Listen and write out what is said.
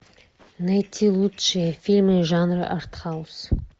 найти лучшие фильмы жанра арт хаус